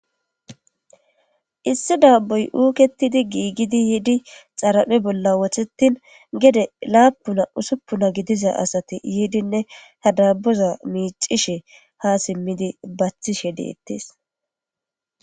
issi daaboy uuketidi giigidi yiidi xaraphe bolla wothetin gede laapuna usuppuna gidiza asati yiidinne hadaaboza miicishe ha simmidi bathishe deettes